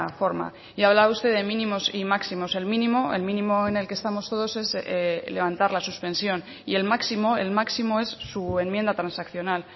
forma y hablaba usted de mínimos y máximos el mínimo el mínimo en el que estamos todos es levantar la suspensión y el máximo el máximo es su enmienda transaccional